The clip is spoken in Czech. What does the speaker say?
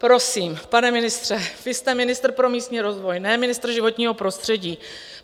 Prosím, pane ministře, vy jste ministr pro místní rozvoj, ne ministr životního prostředí.